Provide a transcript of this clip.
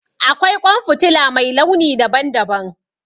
Akwai ƙwan fitila mai launi daban daban